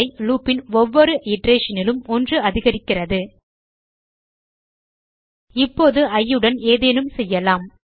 loop ன் ஒவ்வொரு iterationலும் ஒன்று அதிகரிக்கிறது இப்போது இ உடன் ஏதேனும் செய்யலாம்